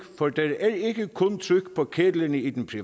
for der er ikke kun tryk på kedlerne i den